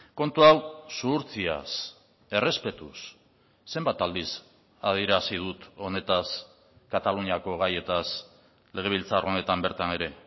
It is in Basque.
kontu hau zuhurtziaz errespetuz zenbat aldiz adierazi dut honetaz kataluniako gaietaz legebiltzar honetan bertan ere